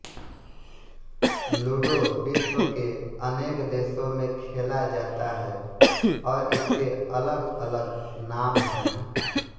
ludo विश्व के अनेक देशों में खेला जाता है और इसके अलगअलग नाम हैं